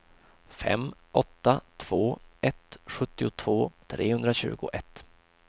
fem åtta två ett sjuttiotvå trehundratjugoett